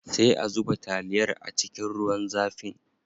Sai a zuba taliyar a cikin ruwan zafin.